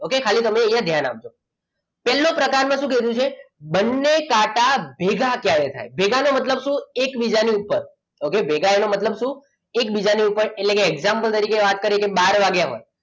okay ખાલી તમે અહીંયા જ ધ્યાન આપજો પહેલો પ્રકારમાં શું કીધું છે બંને કાંટા ભેગા ક્યારે થાય ભેગા નો મતલબ શું? એકબીજાને ઉપર okay ભેગા એટલે શું? એકબીજાની ઉપર એટલે example તરીકે વાત કરીએ તો બાર વાગ્યા હોય